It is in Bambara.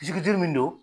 Jigi duuru min don